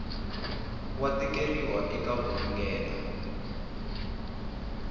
wa tikeriwa eka ku ringeta